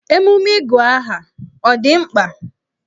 Emume ịgụ aha ọ dị mkpa?